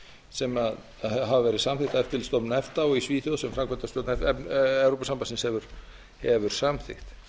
sem hafa verið samþykkt af eftirlitsstofnun efta og í svíþjóð sem framkvæmdastjórn evrópusambandsins hefur samþykkt